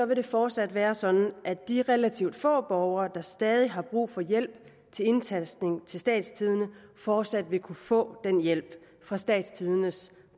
det fortsat være sådan at de relativt få borgere der stadig har brug for hjælp til indtastning i statstidende fortsat vil kunne få den hjælp fra statstidendes